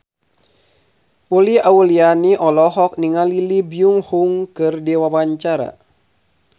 Uli Auliani olohok ningali Lee Byung Hun keur diwawancara